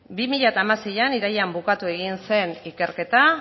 bi mila hamaseian irailean bukatu egin zen ikerketa